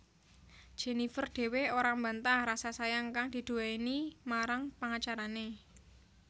Jenifer dhewe ora mbantah rasa sayang kang diduwéni marang pangacarané